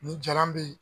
Ni jalan bɛ ye